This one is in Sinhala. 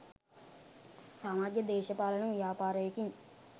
සමාජ දේශපාලන ව්‍යාපාරයකින්